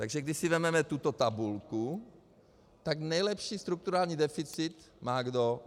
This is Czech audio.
Takže když si vezmeme tuto tabulku , tak nejlepší strukturální deficit má kdo?